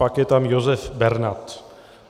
Pak je tam Josef Bernat.